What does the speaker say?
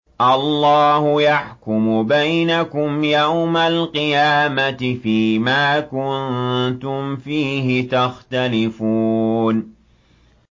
اللَّهُ يَحْكُمُ بَيْنَكُمْ يَوْمَ الْقِيَامَةِ فِيمَا كُنتُمْ فِيهِ تَخْتَلِفُونَ